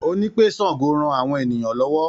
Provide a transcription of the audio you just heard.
Ó ní pé Sango ran àwọn ènìyàn lọ́wọ́.